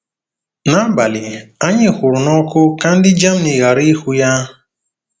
N'abalị, anyị hụrụ n'ọkụ ka ndị Germany ghara ịhụ ya.